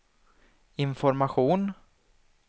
information